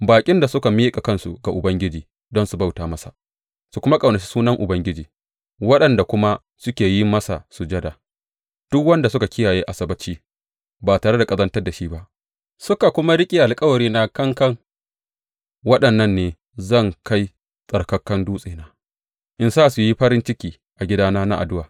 Baƙin da suka miƙa kansu ga Ubangiji don su bauta masa, su kuma ƙaunaci sunan Ubangiji, waɗanda kuma suke yin masa sujada, duk waɗanda suka kiyaye Asabbaci ba tare da ƙazantar da shi ba suka kuma riƙe alkawarina kankan, waɗannan ne zan kai tsattsarkan dutsena in sa su yi farin ciki a gidana na addu’a.